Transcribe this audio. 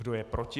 Kdo je proti?